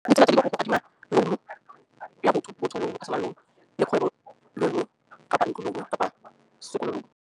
Ditsela tse di ka go adima loan ya botho wena o le kgwebo le kapa ntlo kapa sekolong.